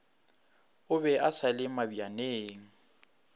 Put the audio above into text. o be a sale mabjaneng